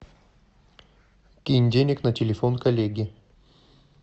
кинь денег на телефон коллеге